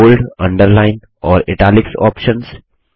bold underline और italics options